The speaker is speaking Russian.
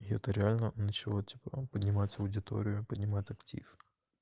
и это реально начало типа поднимать аудиторию поднимать актив